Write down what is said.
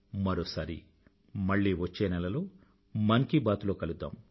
మరోసారి మళ్ళీ వచ్చే నెలలో మన్ కీ బాత్ లో కలుద్దాం